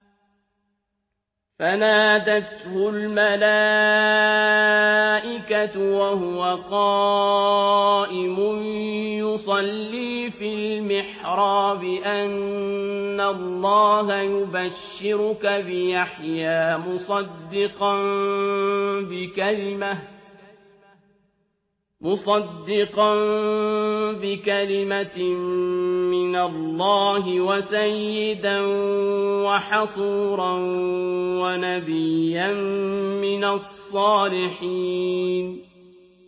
فَنَادَتْهُ الْمَلَائِكَةُ وَهُوَ قَائِمٌ يُصَلِّي فِي الْمِحْرَابِ أَنَّ اللَّهَ يُبَشِّرُكَ بِيَحْيَىٰ مُصَدِّقًا بِكَلِمَةٍ مِّنَ اللَّهِ وَسَيِّدًا وَحَصُورًا وَنَبِيًّا مِّنَ الصَّالِحِينَ